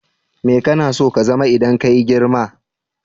Mai kana so ka zama idan kayi girma?